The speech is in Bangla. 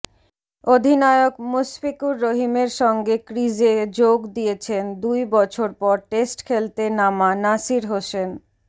অধিনায়ক মুশফিকুর রহিমের সঙ্গে ক্রিজে যোগ দিয়েছেন দুই বছর পর টেস্ট খেলতে নামা নাসির হোসেন